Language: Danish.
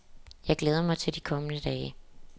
Jeg glæder mig til de kommende dage.